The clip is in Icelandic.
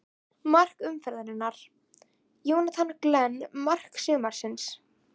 Mark umferðarinnar: Jonathan Glenn Mark sumarsins?